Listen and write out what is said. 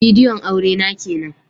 Bidiyon aure na kenan